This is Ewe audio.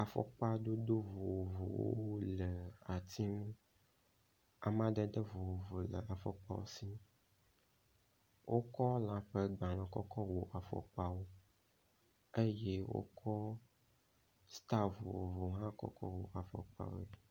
Afɔkpadodo vovovowo wole ati ŋu. Amadede vovovo le afɔkpawo si. Wokɔ lã ƒe gbalẽ kɔ kɔ wɔ afɔkpawo eye wokɔ stal vovovo hã kɔ wɔ afɔkpawoe.